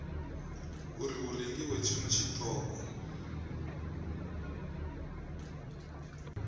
uri hu rengiwe tshiṅwe tshiṱoko